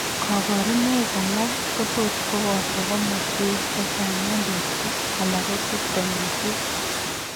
Kaborunoik alak kotot kobooto komoswek chechang' eng' borto alako systemisiek